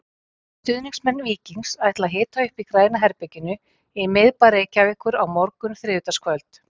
Stuðningsmenn Víkings ætla að hita upp í Græna herberginu í miðbæ Reykjavíkur á morgun þriðjudagskvöld.